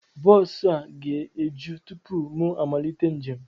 Bọọsu a ga-eju tụpụ mụ amalite njem